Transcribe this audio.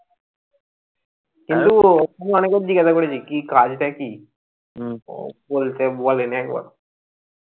কিন্তু ওকে আমি অনেকবার জিজ্ঞাসা করেছি কি কাজটা কি বলেনি একবারও